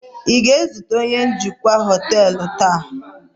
ị ga-ezute onye njikwa họtelu taa?